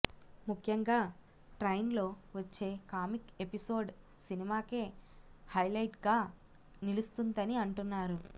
ముఖ్యంగా ట్రైన్లో వచ్చే కామిక్ ఎపిసోడ్ సినిమాకే హైలైట్గా నిలుస్తుందని అంటున్నారు